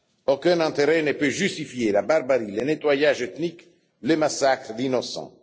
Aucun intérêt ne peut justifier la barbarie, le nettoyage ethnique, le massacre d'innocents.